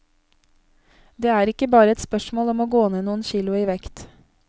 Det er ikke bare et spørsmål om å gå ned noen kilo i vekt.